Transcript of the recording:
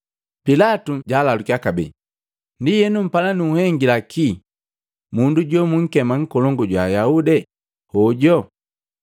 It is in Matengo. Pilatu jalalukya kabee, “Ndienu, mpala nunhengila ki mundu jomunkema Nkolongu jwa Ayaude hojo?”